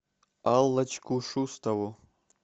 аллочку шустову